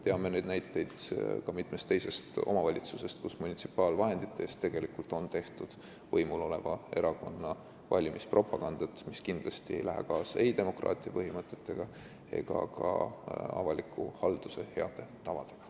Teame näiteid ka mitmest teisest omavalitsusest, kus tegelikult on munitsipaalvahenditest tehtud võimul oleva erakonna valimispropagandat, mis ei lähe kindlasti kokku ei demokraatia põhimõtetega ega ka avaliku halduse heade tavadega.